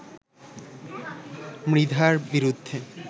মৃধার বিরুদ্ধে